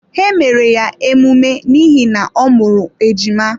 Ha mere ya emume n’ihi na ọ mụrụ ejima.